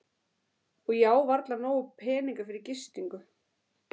Og ég á varla nóga peninga fyrir gistingu.